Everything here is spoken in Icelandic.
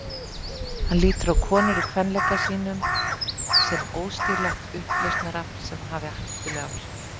Hann lítur á konur í kvenleika sínum sem óstýrilátt upplausnarafl sem hafi hættuleg áhrif.